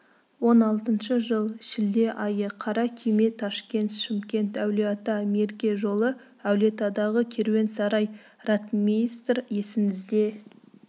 он алтыншы жыл шілде айы қара күйме ташкент шымкент әулиеата мерке жолы әулиеатадағы керуен-сарай ротмистр есіңізде